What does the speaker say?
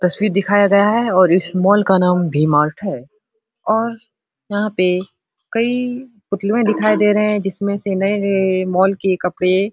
तस्वीर दिखाया गया है और इस मॉल का नाम वी मार्ट है और यहां पे कई पुतलवे दिखाई दे रहे हैं जिसमें से नए-नए मॉल के कपड़े --